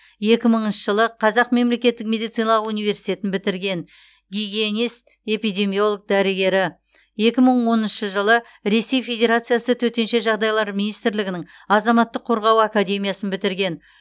екі мыңыншы жылы қазақ мемлекеттік медициналық университетін бітірген гигиенист эпидемиолог дәрігері екі мың оныншы жылы ресей федерациясы төтенше жағдайлар министрлігінің азаматтық қорғау академиясын бітірген